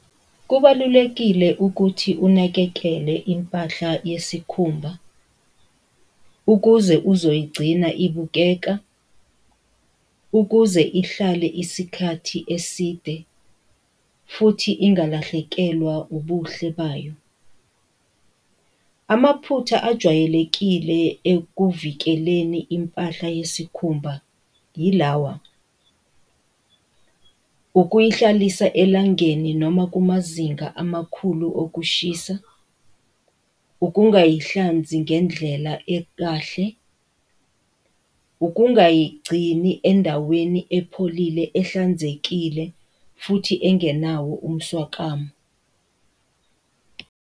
Kubalulekile ukuthi unakekele impahla yesikhumba, ukuze uzoyigcina ibukeka, ukuze ihlale isikhathi eside, futhi ingalahlekelwa ubuhle bayo. Amaphutha ajwayelekile ekuvikeleni impahla yesikhumba yilawa, ukuyihlalisa elangeni noma kumazinga amakhulu okushisa, ukungayihlanzi ngendlela ekahle, ukungayigcini endaweni epholile ehlanzekile, futhi engenawo umswakamo.